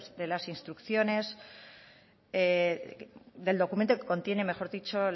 de las instrucciones del documento que contiene mejor dicho